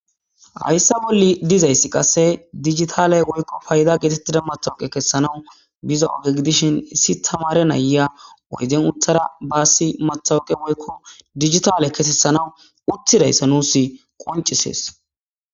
hayssa bolli dizayssi qasse digitale woykko payda geetettida matawuqe kessanawu biza oge gidishin issi tamare naya oyden uthara baassi matawuqe woykko digitale kesessanawu utthidayssa nuus qoncisees